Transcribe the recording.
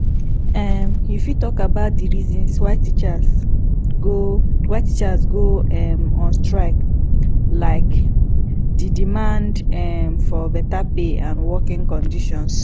um you fit talk about di reasons why teachers go why teachers go um on strike like di demand um for beta pay and working conditions